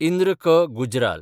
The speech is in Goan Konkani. इंद्र क. गुज्राल